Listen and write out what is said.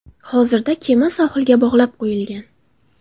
Hozirda kema sohilga bog‘lab qo‘yilgan.